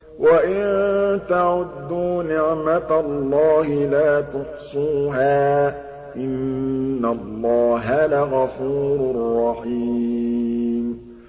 وَإِن تَعُدُّوا نِعْمَةَ اللَّهِ لَا تُحْصُوهَا ۗ إِنَّ اللَّهَ لَغَفُورٌ رَّحِيمٌ